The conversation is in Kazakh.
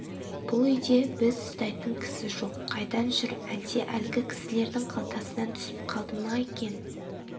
бұл үйде біз ұстайтын кісі жоқ қайдан жүр әлде әлгі кісілердің қалтасынан түсіп қалды ма екен